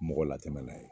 Mɔgɔ latɛmɛ n'a ye